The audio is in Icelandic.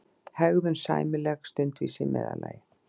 hegðun sæmileg, stundvísi í meðallagi.